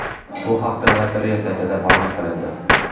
Bu haqda lotereya saytida ma’lum qilindi .